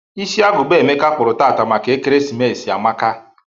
Isi agụba Emeka kpụrụ taata maka ekeresimesi amaka.